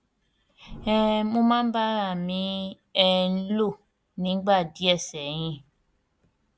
um mo máa ń bá ara à mi um lò nígbà díẹ sẹyìn